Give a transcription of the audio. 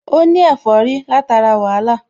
Ó ní ẹ̀fọ́rí látara wàhálà